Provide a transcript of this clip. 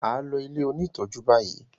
A ló ilẹ òní tọjú bayí